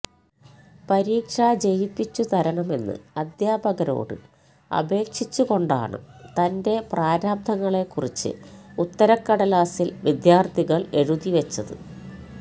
പരീക്ഷ ജയിപ്പിച്ചു തരണമെന്ന് അധ്യാപകരോട് അപേക്ഷിച്ചുകൊണ്ടാണ് തന്റെ പ്രാരാബ്ദങ്ങളെക്കുറിച്ച് ഉത്തരക്കടലാസില് വിദ്യാര്ത്ഥികള് എഴുതിവെച്ചത്